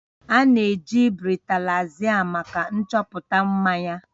A na-eji bretalaiza maka nchọpụta mmanya